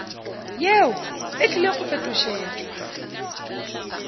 yeo e tlile go fetošetšwa